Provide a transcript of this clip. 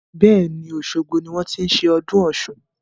Bẹ́ẹ̀ni, osogbo ni wọn ti ń ṣe ọdún Ọ̀sun.